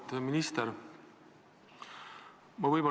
Auväärt minister!